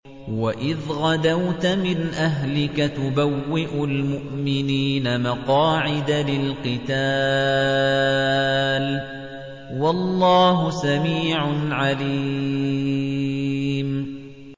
وَإِذْ غَدَوْتَ مِنْ أَهْلِكَ تُبَوِّئُ الْمُؤْمِنِينَ مَقَاعِدَ لِلْقِتَالِ ۗ وَاللَّهُ سَمِيعٌ عَلِيمٌ